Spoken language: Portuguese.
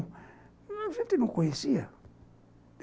A gente não conhecia.